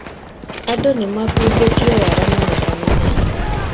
Andũ nĩmakungĩtio wara mũno kanitha-inĩ